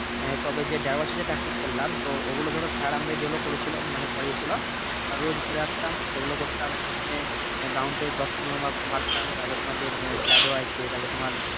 হ্যাঁ তবে যে দেড় বছর যে Practice করলাম তো ওইগুলো ধরো স্যার আমাদের যেগুলো করেছিলো করিয়ে ছিলো আমরা রোজ ভোরে আসতাম সেগুলো করতাম প্রথমে গ্রাউন্ডে দশ পনেরো বার বার তারপরে তোমার যে Shadow আছে তারপরে তোমার